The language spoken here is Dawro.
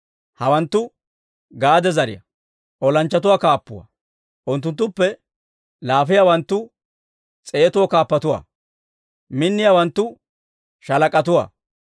Hawanttu Gaade zariyaa olanchchatoo kaappatuwaa. Unttunttuppe laafiyaawanttu S'eetoo kaappatuwaa; minniyaawanttu sha''aa kaappatuwaa.